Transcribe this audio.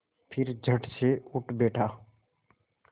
फिर झटसे उठ बैठा